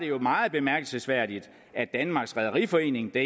jo meget bemærkelsesværdigt at danmarks rederiforening det